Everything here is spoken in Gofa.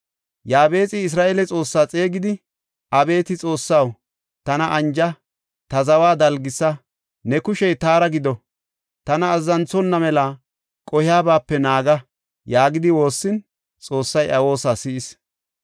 Yaabexi Isra7eele Xoossaa xeegidi, “Abeeti Xoossaw, tana anja; ta zawa dalgisa. Ne kushey taara gido; tana azzanthonna mela qohiyabaape naaga” yaagidi woossin Xoossay iya woosa si7is.